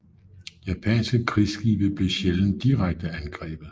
Japanske krigsskibe blev sjældent direkte angrebet